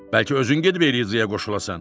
Bəlkə özün gedib Elizaya qoşulasan?